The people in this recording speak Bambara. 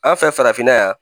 An fɛ farafinna yan